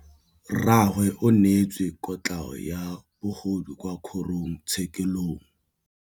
Rragwe o neetswe kotlhaô ya bogodu kwa kgoro tshêkêlông.